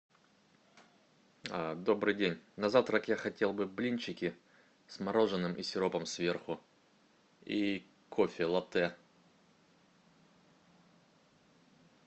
добрый день на завтрак я хотел бы блинчики с мороженым и сиропом сверху и кофе латте